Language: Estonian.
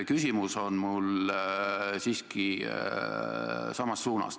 Küsimus on mul siiski samas suunas.